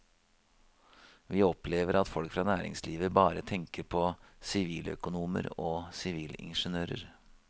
Vi opplever at folk fra næringslivet bare tenker på siviløkonomer og sivilingeniører.